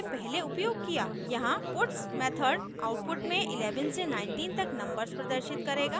यहाँ puts method output में 11 से 19 तक नंबर्स प्रदर्शित करेगा